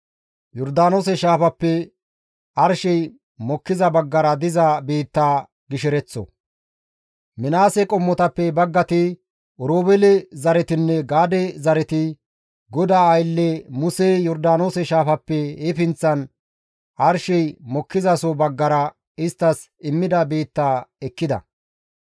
Minaase qommotappe baggati, Oroobeele zaretinne Gaade zareti GODAA aylle Musey Yordaanoose shaafappe he pinththan arshey mokkizaso baggara isttas immida biitta ekkida.